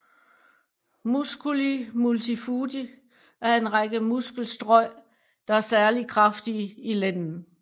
Musculi multifudi er en række muskelstrøj der er særligt kraftige i lænden